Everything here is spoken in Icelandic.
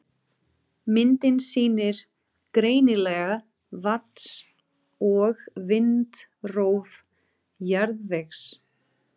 Myndin sýnir greinilega vatns- og vindrof jarðvegs.